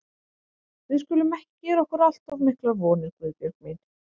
Við skulum ekki gera okkur allt of miklar vonir, Guðbjörg mín.